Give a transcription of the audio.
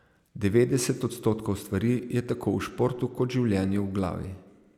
Devetdeset odstotkov stvari je tako v športu kot življenju v glavi.